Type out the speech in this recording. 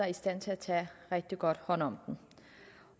i stand til at tage rigtig godt hånd om